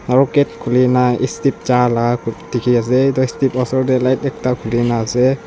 aru gate khuli ne step ja la dikhi ase etu step la oser te light ekta khuli ne ase.